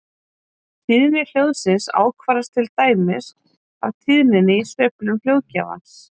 Tíðni hljóðsins ákvarðast til dæmis af tíðninni í sveiflum hljóðgjafans.